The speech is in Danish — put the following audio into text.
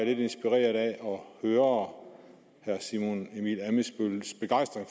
høre herre simon emil ammitzbølls begejstring